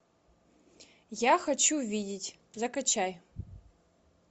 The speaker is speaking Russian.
я хочу видеть закачай